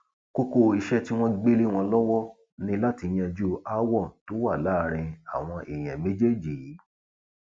kókó iṣẹ tí wọn gbé lé wọn lọwọ ni láti yanjú aáwọ tó wà láàrin àwọn èèyàn méjèèjì yìí